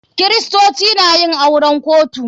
Kiristoci na yin auren kotu.